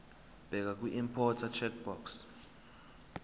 bheka kwiimporter checkbox